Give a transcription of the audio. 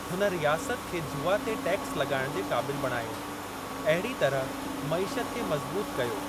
हुन रियासत खे जुवा ते टैक्स लॻाइणु जे क़ाबिलु बणायो, अहिड़ी तरह मईशत खे मज़बूतु कयो।